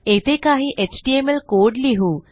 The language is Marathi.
येथे काही एचटीएमएल कोड लिहू